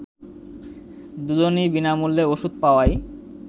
দুজনই বিনামূল্যে ওষুধ পাওয়ায়